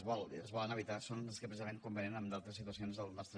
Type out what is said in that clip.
i que es volen evitar són els que precisament convenen en d’altres situacions del nostre